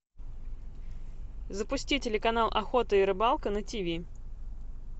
запусти телеканал охота и рыбалка на тв